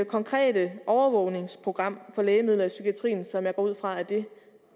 konkrete overvågningsprogram for lægemidler i psykiatrien som jeg går ud fra er det